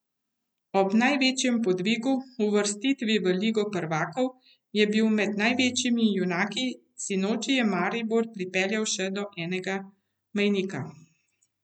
Ob največjem podvigu, uvrstitvi v ligo prvakov, je bil med največjimi junaki, sinoči je Maribor popeljal še do enega mejnika.